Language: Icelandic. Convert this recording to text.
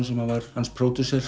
sem var hans